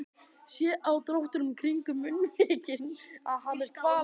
Sé á dráttunum kringum munnvikin að hann er kvalinn.